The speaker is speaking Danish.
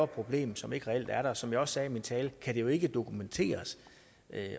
problem som ikke reelt er der som jeg også sagde i min tale kan det jo ikke dokumenteres